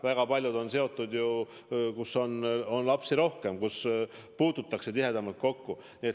Väga paljudes ringides on ju lapsi rohkem, puututakse tihedamalt kokku.